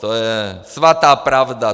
To je svatá pravda.